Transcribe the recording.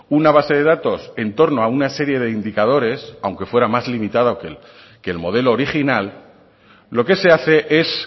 una base de datos en torno a una serie de indicadores aunque fuera más limitada que el modelo original lo que se hace es